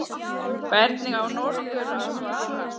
Hvernig á norður að svara?